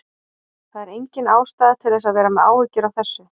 Það er engin ástæða til að vera með áhyggjur af þessu.